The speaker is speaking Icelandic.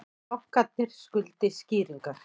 Bankarnir skuldi skýringar